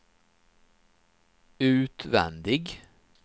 utvändig